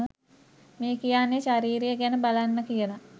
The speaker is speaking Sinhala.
මේ කියන්නේ ශරීරය ගැන බලන්න කියල